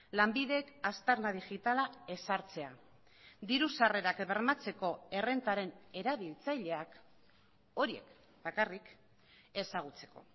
lanbidek aztarna digitala ezartzea diru sarrerak bermatzeko errentaren erabiltzaileak horiek bakarrik ezagutzeko